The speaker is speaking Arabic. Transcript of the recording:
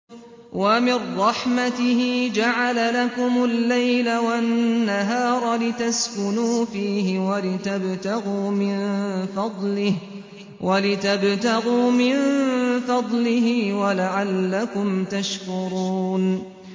وَمِن رَّحْمَتِهِ جَعَلَ لَكُمُ اللَّيْلَ وَالنَّهَارَ لِتَسْكُنُوا فِيهِ وَلِتَبْتَغُوا مِن فَضْلِهِ وَلَعَلَّكُمْ تَشْكُرُونَ